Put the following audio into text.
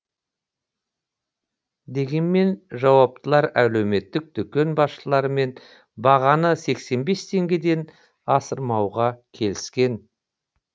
дегенмен жауаптылар әлеуметтік дүкен басшыларымен бағаны сексен бес теңгеден асырмауға келіскен